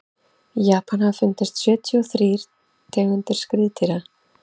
í japan hafa fundist sjötíu og þrír tegundir skriðdýra